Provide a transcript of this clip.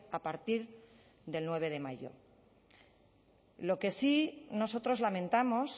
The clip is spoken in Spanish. a partir del nueve de mayo lo que sí nosotros lamentamos